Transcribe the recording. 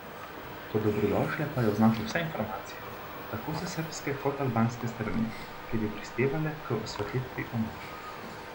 Kot dobrodošle pa je označil vse informacije, tako s srbske kot albanske strani, ki bi prispevale k osvetlitvi umora.